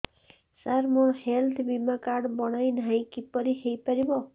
ସାର ମୋର ହେଲ୍ଥ ବୀମା କାର୍ଡ ବଣାଇନାହିଁ କିପରି ହୈ ପାରିବ